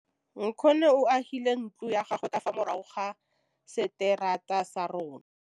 Nkgonne o agile ntlo ya gagwe ka fa morago ga seterata sa rona.